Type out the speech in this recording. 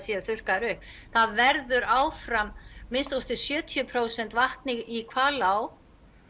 séu þurrkaðir upp það verður áfram að minnsta kosti sjötíu prósent vatn í Hvalá